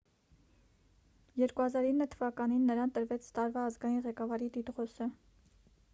2009 թվականին նրան տրվեց տարվա ազգային ղեկավարի տիտղոսը